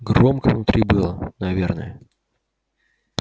громко внутри было наверное